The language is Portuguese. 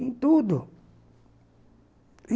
Em tudo.